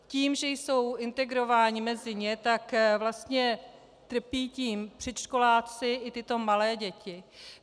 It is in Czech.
Tím, že jsou integrovány mezi ně, tak vlastně trpí tím předškoláci i tyto malé děti.